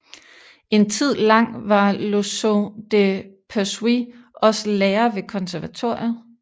En tid lang var Loiseau de Persuis også lærer ved konservatoriet